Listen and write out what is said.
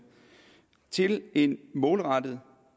til en målrettet